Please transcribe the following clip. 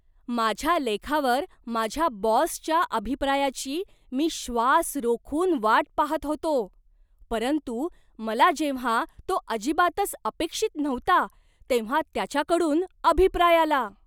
माझ्या लेखावर माझ्या बॉसच्या अभिप्रायाची मी श्वास रोखून वाट पाहत होतो, परंतु मला जेव्हा तो अजिबातच अपेक्षित नव्हता तेव्हा त्याच्याकडून अभिप्राय आला.